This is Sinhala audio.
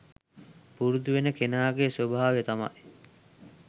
පුරුදු වෙන කෙනාගේ ස්වභාවය තමයි,